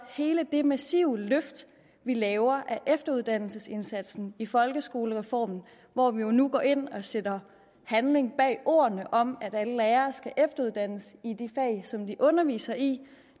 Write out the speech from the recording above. hele det massive løft vi laver af efteruddannelsesindsatsen i folkeskolereformen hvor vi nu går ind og sætter handling bag ordene om at alle lærere skal efteruddannes i de fag som de underviser i